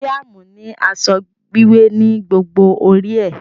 Mariam ni asọ wiwẹ ni gbogbo ori é.